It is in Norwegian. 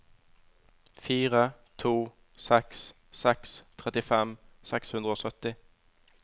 fire to seks seks trettifem seks hundre og sytti